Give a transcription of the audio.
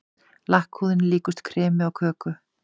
Lakkhúðin líkust kremi á köku.